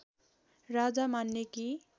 राजा मान्ने कि